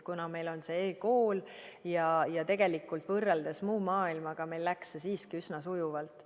Kuna meil on e‑kool, siis võrreldes muu maailmaga läks meil see tegelikult üsna sujuvalt.